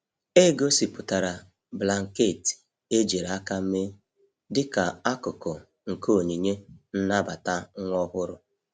E gosipụtara blanketị ejiri aka mee dịka akụkụ nke onyinye nnabata nwa ọhụrụ.